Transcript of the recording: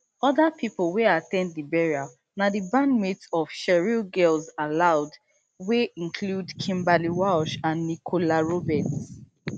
oda pipo wey at ten d di burial na di bandmates of cheryl girls aloud wey include kimberly walsh and nicola roberts